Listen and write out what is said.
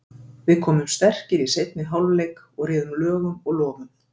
Við komum sterkir í seinni hálfleik og réðum lögum og lofum.